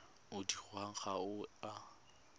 o dirwang ga o a